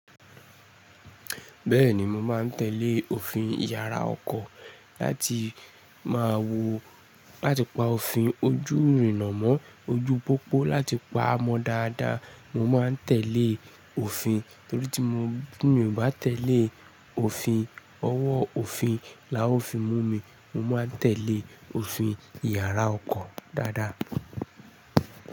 Bẹ́ẹ̀ni mo máa ń tẹ̀lé òfin Ìyàrá ọkọ̀ láti máa wo láti pa òfin ojú ìrìnnà mọ́ ojú pópó láti pa mọ́ dáadáa. Mo máa ń tẹ̀lé òfin nítorí tí mo bá tẹ̀lé òfin, ọwọ́ òfin la ó fi mú mi. Mo máa ń tẹ̀lé òfin Ìyàrá ọkọ̀ dáadáa.